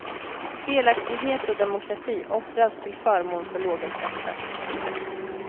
Delaktighet och demokrati offras till förmån för låga skatter.